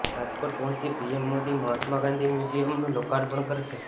રાજકોટ પહોંચી પીએમ મોદી મહાત્મા ગાંધી મ્યુઝિયમનુ લોકાર્પણ કરશે